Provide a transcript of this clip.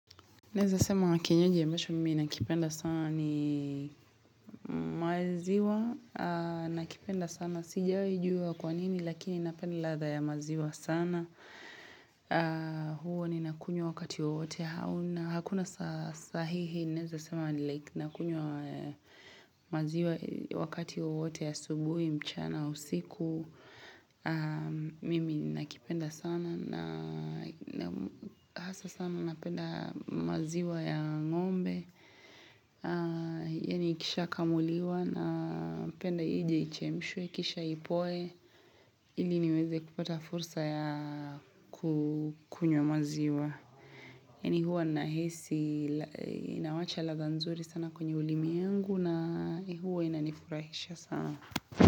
Naweza sema kinywaji ya mwisho mimi nakipenda sana ni maziwa. Nakipenda sana sijawaijua kwa nini lakini napendi ladha ya maziwa sana. Huwa ni nakunywa wakati wote hakuna sahihi naeza sema nakunywa maziwa wakati wote asubuhi mchana usiku mimi nakipenda sana na hasa sana napenda maziwa ya ngombe yani ikisha kamuliwa na penda ije ichemshwe kisha ipoe ili niweze kupata fursa ya kukunywa maziwa mimi huwa nahisi inawacha ladha nzuri sana kwenye ulimi yangu na huwa inanifurahisha sana.